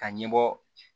Ka ɲɛbɔ